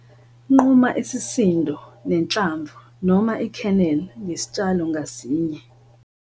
Nquma isisindo nenhlamvu noma i-kernel ngesitshalo ngasinye